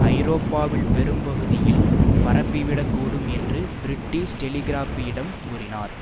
ஐரோப்பாவில் பெரும்பகுதியில் பரப்பிவிடக்கூடும் என்று பிரிட்டிஷ் டெலிகிராப்பிடம் கூறினார்